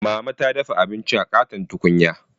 Mama ta dafa abinci a ƙaton tukunya.